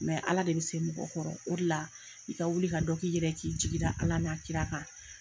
Ala de bɛ se mɔgɔ kɔrɔ, o de la, i ka wuli ka dɔ k'i yɛrɛ ye, k'i jigi da Ala n'a Kira kan.